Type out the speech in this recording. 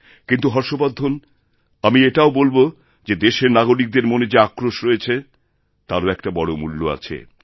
কিন্তু হর্ষবর্ধন আমি এটাও বলব যে দেশের নাগরিকদের মনে যে আক্রোশ রয়েছেতারও একটা বড় মূল্য আছে